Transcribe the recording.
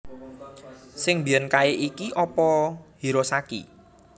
Sing mbiyen kae ki opo Hirosaki